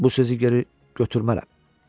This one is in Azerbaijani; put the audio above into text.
Bu sözü geri götürmərəm.